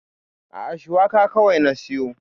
A'a, Shuwaka kawai na siyo.